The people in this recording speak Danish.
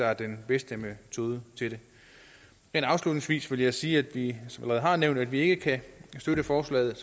er den bedste metode til det men afslutningsvis vil jeg sige at vi som jeg allerede har nævnt ikke kan støtte forslaget af